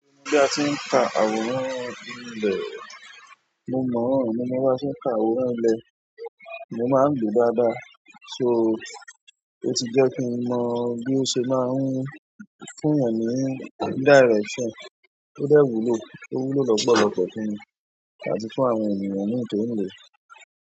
Bí a ti ń ka àwòrán ilẹ̀, mo mọ̀ ọ́n, mo mọ báa ṣe ń ka àwòrán ilẹ̀, mo máa ń lòó dáadáa. So, ó ti jẹ́ kí n mọ bí ó ṣe máa ń fún èèyàn ní direction tó dẹ̀ wúlò, tó wúlò lọ́pọ̀lọpọ̀ fún mi àti fún àwọn ènìyàn míì tó ń lòó.